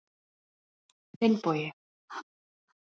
Einsdæmin eru verst.